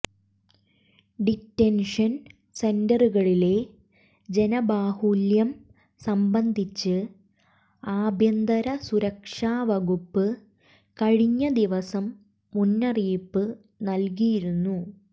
detention സെന്ററുകളിലെ ജനബാഹുല്യം സംബന്ധിച്ച് ആഭ്യന്തരസുരക്ഷാ വകുപ്പ് കഴിഞ്ഞ ദിവസം മുന്നറിയിപ്പ് നൽകിയിരുന്നു